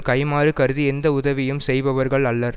கைம்மாறு கருதி எந்த உதவியும் செய்பவர்கள் அல்லர்